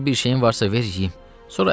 Qabaqca bir şeyin varsa ver yeyim.